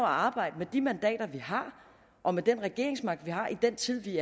arbejde med de mandater vi har og med den regeringsmagt vi har i den tid vi